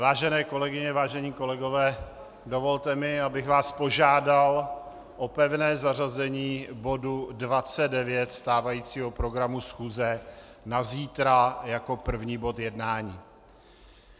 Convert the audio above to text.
Vážené kolegyně, vážení kolegové, dovolte mi, abych vás požádal o pevné zařazení bodu 29 stávajícího programu schůze na zítra jako první bod jednání.